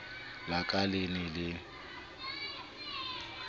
la ka le ne le